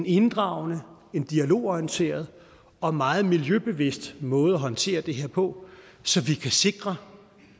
inddragende dialogorienteret og meget miljøbevidst måde at håndtere det her på så vi kan sikre